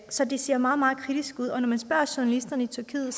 så det ser meget meget kritisk ud og når man spørger journalisterne i tyrkiet